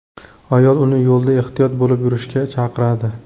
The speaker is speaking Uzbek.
Ayol uni yo‘lda ehtiyot bo‘lib yurishga chaqiradi.